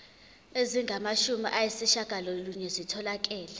ezingamashumi ayishiyagalolunye zitholakele